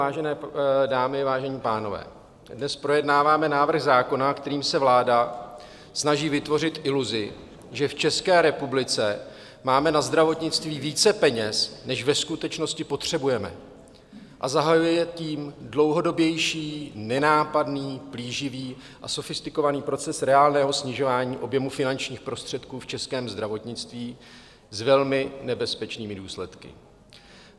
Vážené dámy, vážení pánové, dnes projednáváme návrh zákona, kterým se vláda snaží vytvořit iluzi, že v České republice máme na zdravotnictví více peněz, než ve skutečnosti potřebujeme, a zahajujeme tím dlouhodobější, nenápadný, plíživý a sofistikovaný proces reálného snižování objemu finančních prostředků v českém zdravotnictví s velmi nebezpečnými důsledky.